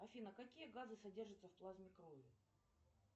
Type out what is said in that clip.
афина какие газы содержатся в плазме крови